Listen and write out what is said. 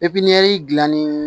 gilanni